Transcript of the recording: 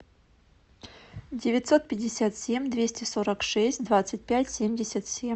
девятьсот пятьдесят семь двести сорок шесть двадцать пять семьдесят семь